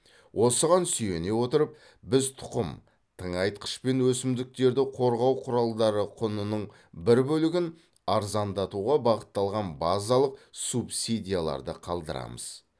осыған сүйене отырып біз тұқым тыңайтқыш пен өсімдіктерді қорғау құралдары құнының бір бөлігін арзандатуға бағытталған базалық субсидияларды қалдырамыз